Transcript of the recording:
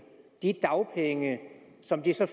de dagpenge som de så